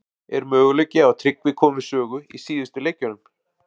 Er möguleiki á að Tryggvi komi við sögu í síðustu leikjunum?